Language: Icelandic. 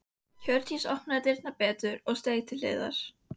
Hjördís opnaði dyrnar betur og steig til hliðar.